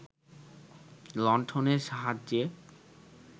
লণ্ঠনের সাহায্যে